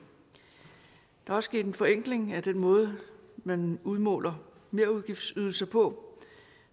der er også sket en forenkling af den måde man udmåler merudgiftsydelser på